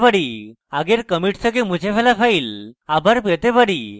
আমরা আগের কমিট থেকে মুছে ফেলা ফাইল আবার পেতে পারি